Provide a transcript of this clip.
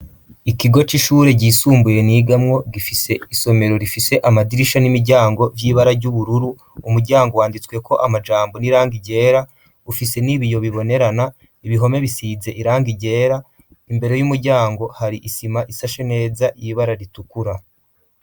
ikigo c'ishure gyisumbuye nigamwo , gifise isomero rifise amadirisha n'imiryango vy'ibara ry'ubururu , umuryango wanditsweko amajambo n'irangi ryera ,ufise n'ibiyo bibonerana , ibihome bisize irangi ryera , imbere y'umuryango hari isima ishashe neza y'ibara ritukura.